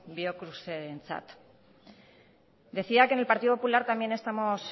biocrucesentzat decía que en el partido popular también estamos